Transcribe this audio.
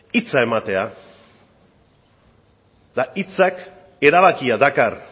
hitza ematea eta hitzak erabakia dakar